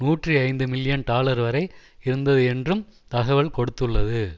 நூற்றி ஐந்து million dollar வரை இருந்தது என்றும் தகவல் கொடுத்துள்ளது